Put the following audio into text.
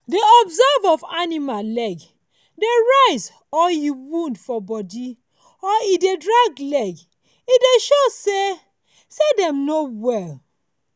dey observe of animal leg dey rise or e wound for body or e dey drag leg e dey show say say dem dey no well